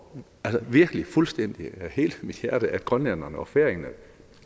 virkelig af hele mit hjerte at grønlænderne og færingerne